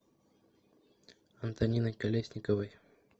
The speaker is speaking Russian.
антониной колесниковой